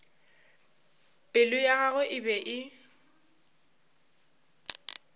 pelo ya gagwe e be